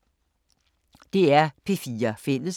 DR P4 Fælles